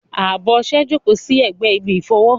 Abọ́ ọṣẹ jókòó sí ẹ̀gbẹ́ ibi ìfọwọ́.